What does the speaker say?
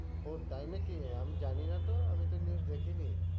ও তাই নাকি? আমি জানি না তো, আমি তো news দেখিনি।